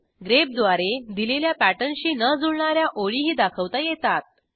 grep द्वारे दिलेल्या पॅटर्नशी न जुळणा या ओळीही दाखवता येतात